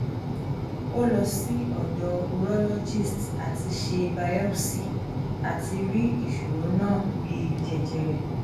o lo si odo urologist ati se biopsy ati ri isoro na bi jejere